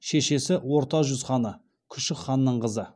шешесі орта жүз ханы күшік ханның қызы